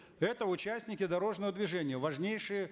это участники дорожного движения важнейший